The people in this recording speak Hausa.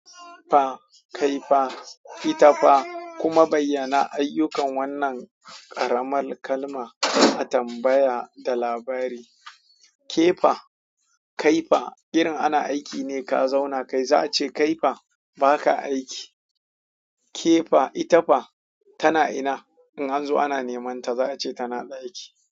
Fa kai fa ita fa kuma bayyana ayyukan wannan ƙaramar kalma a tambaya da labari ke fa, kai fa, irinn ana aiki ne ka zauna kai za a ce kai fa ba ka aiki. Ke fa, ita fa, tana ina in an zo ana neman ta za a ce tana ɗaki.